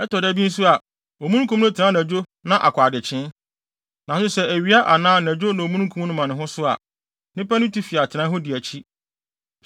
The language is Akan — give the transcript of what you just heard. Ɛtɔ da bi nso a, omununkum no tena anadwo na akɔ adekyee. Nanso sɛ ɛyɛ awia anaa anadwo na omununkum no ma ne ho so a, nnipa no tu fi atenae hɔ di akyi.